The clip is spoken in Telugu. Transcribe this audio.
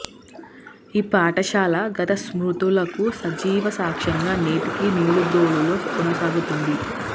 ఈ పాఠశాల గత స్మృతులకు సజీవ సాక్ష్యంగా నేటికి నిడుబ్రోలులో కొనసాగుతుంది